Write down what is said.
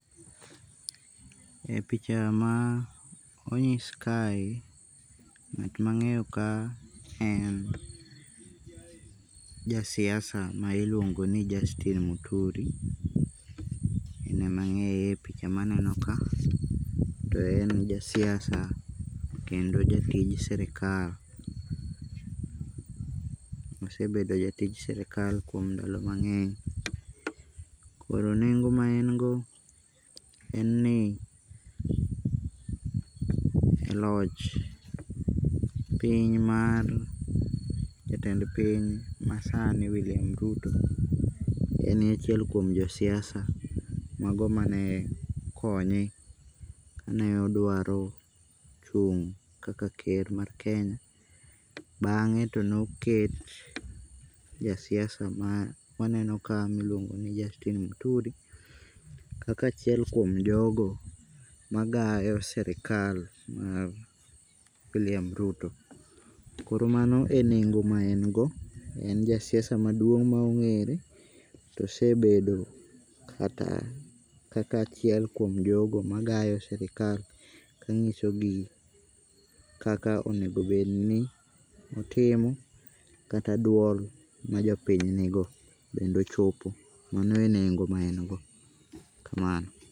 E picha ma onyis kae, ng'at mangeyo ka en jasiasa ma iluongo ni Justin Muturi, en ema angeye e picha maneno ka to en jasiasa kendo jatij sirkal, osebedo jatij sirkal kuom ndalo mangeny. Koro nengo ma en go en ni loch piny mar jatend piny masani William Ruto, enie achiel kuom josiasa mago mane konye kane odwaro chung' kaka ker mar kenya, bange to ne oket jasiasa ma waneno ka miluongo ni Justin muturi kaka achiel kuom jogo magayo sirkal mar William Ruto, koro mano e nengo ma en go en jasiasa maduong ma ongere, to osebedo kata kaka achiel kuom jogo magayo sirkal kangiso gi kaka onego bedni otimo kata duol ma jopiny nigo bende ochopo, mano e nengo maen go, kamano